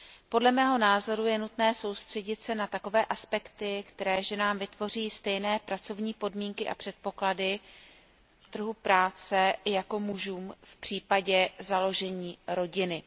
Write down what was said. Podle mého názoru je nutné soustředit se na takové aspekty, které ženám vytvoří stejné pracovní podmínky a předpoklady na trhu práce jako mužům v případě založení rodiny.